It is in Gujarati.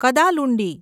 કદાલુંડી